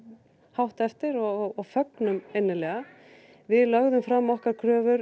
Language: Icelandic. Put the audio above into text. hátt eftir og fögnuðum innilega við lögðum fram okkar kröfur